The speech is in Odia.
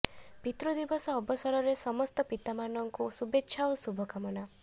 ପିତୃ ଦିବସ ଅବସରରେ ସମସ୍ତ ପିତାମାନଙ୍କୁ ଶୁଭେଚ୍ଛା ଓ ଶୁଭକାମନା